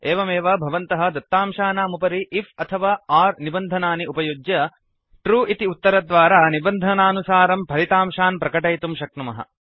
एवमेव भवन्तः दत्तांशानाम् उपरि आईएफ अथवा ओर् निबन्धनानि उपयुज्य ट्रू इति उत्तरद्वारा निबन्धनानुसारं फलितांशान् प्रकटयितुं शक्नुमः